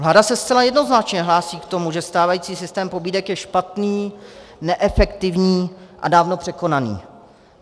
Vláda se zcela jednoznačně hlásí k tomu, že stávající systém pobídek je špatný, neefektivní a dávno překonaný.